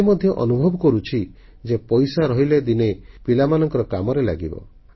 ସେ ମଧ୍ୟ ଅନୁଭବ କରୁଛି ଯେ ପଇସା ରହିଲେ ଦିନେ ପିଲାମାନଙ୍କ କାମରେ ଲାଗିବ